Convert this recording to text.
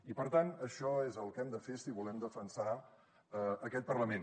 i per tant això és el que hem de fer si volem defensar aquest parlament